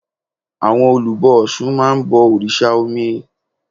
Àwọn olùbọ ọ̀sun máa ń bọ òrìsà omi